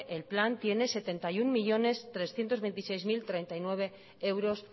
el plan tiene setenta y uno millónes trescientos veintiséis mil treinta y nueve euros